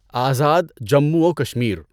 آزاد جموں و کشمیر